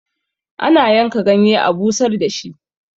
ana yanka ganye a busar da shi